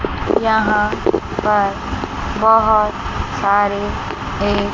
यहां पर बोहोत सारे है।